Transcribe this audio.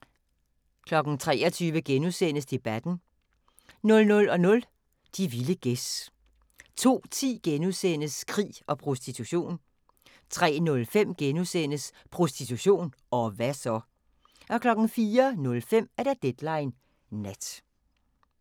23:00: Debatten * 00:00: De vilde gæs 02:10: Krig og prostitution * 03:05: Prostitution – og hva' så? * 04:05: Deadline Nat